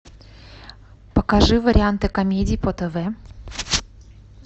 покажи варианты комедий по тв